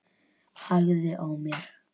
Hægði á mér.